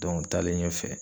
taalen ɲɛfɛ